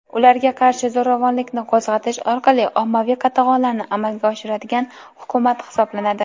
ularga qarshi zo‘ravonlikni qo‘zg‘atish orqali ommaviy qatag‘onlarni amalga oshiradigan hukumat hisoblanadi.